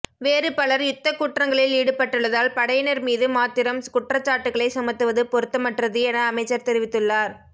வேறு பலர் யுத்த குற்றங்களில் ஈடுபட்டுள்ளதால் படையினர் மீது மாத்திரம் குற்றச்சாட்டுகளை சுமத்துவது பொருத்தமற்றது என அமைச்சர் தெரிவித்துள்ளார்